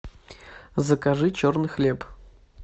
закажи черный хлеб